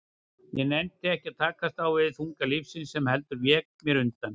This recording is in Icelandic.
Ég nennti ekki að takast á við þunga lífsins, heldur vék mér undan.